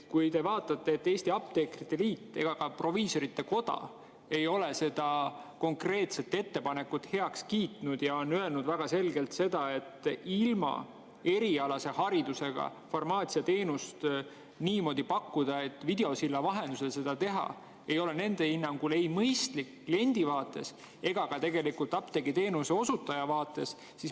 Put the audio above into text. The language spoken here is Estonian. Ei Eesti Apteekrite Liit ega ka Proviisorite Koda ei ole seda konkreetset ettepanekut heaks kiitnud ja on öelnud väga selgelt, et ilma erialase hariduseta farmatseuditeenust niimoodi pakkuda, et videosilla vahendusel seda teha, ei ole nende hinnangul mõistlik ei kliendi vaates ega tegelikult ka apteegiteenuse osutaja vaates.